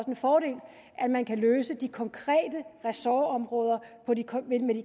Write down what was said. en fordel at man kan løse de konkrete ressortområder med de